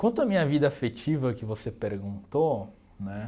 Quanto à minha vida afetiva, que você perguntou, né?